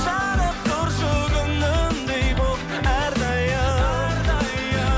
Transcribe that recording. жанып тұршы күнімдей болып әр дайым